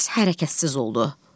Bir az hərəkətsiz oldu.